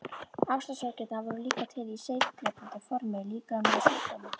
Ástarsorgirnar voru líka til í seigdrepandi formi líkamlegra sjúkdóma.